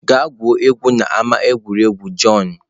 gaa gwuo egwu n'ama egwuregwu john!